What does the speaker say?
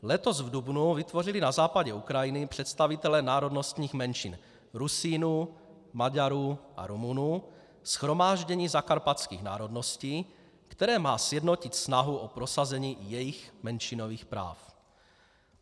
Letos v dubnu vytvořili na západě Ukrajiny představitelé národnostních menšin - Rusínů, Maďarů a Rumunů - Shromáždění zakarpatských národností, které má sjednotit snahu o prosazení jejich menšinových práv.